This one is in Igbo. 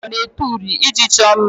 Ndị Igbo na-ete uri iji chọọ mma